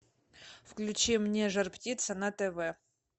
включи мне жар птица на тв